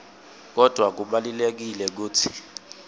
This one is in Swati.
kodvwa kubalulekile kutsi